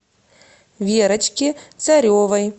верочке царевой